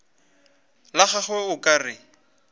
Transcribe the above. la gagwe o ka re